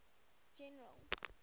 general